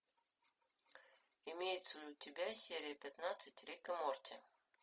имеется ли у тебя серия пятнадцать рик и морти